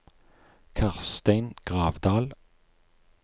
Karstein Gravdal